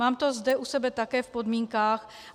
Mám to zde u sebe také v podmínkách.